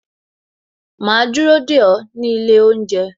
Ma dúró dè ó nílé oúnjẹ